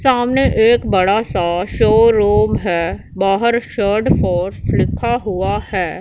सामने एक बड़ा सा शोरूम हैं बाहर शार्ड फोर्स लिखा हुआ है--